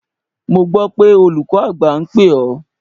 Mo gbọ́ pé olùkọ́ àgbà ń pè ọ́?